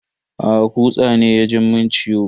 Aa, kutsa ne ya ji mun ciwo.